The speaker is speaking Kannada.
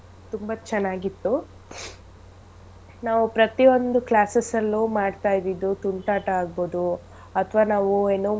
ತುಂಬಾ ಚೆನ್ನಾಗಿ ಇತ್ತು ನಾವು ಪ್ರತಿ ಒಂದು classes ಅಲ್ಲೂ ಮಾಡ್ತಇದ್ದಿದ್ ತುಂಟಾಟ ಆಗ್ಬೋದು ಅಥವಾ ನಾವೂ ಏನು.